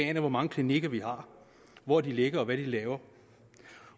aner hvor mange klinikker vi har hvor de ligger og hvad de laver